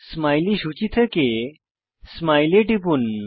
smiley সূচী থেকে smile এ টিপুন